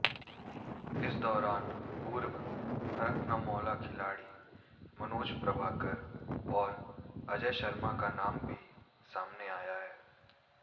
इस दौरान पूर्व हरफनमौला खिलाड़ी मनोज प्रभाकर और अजय शर्मा का नाम भी सामने आया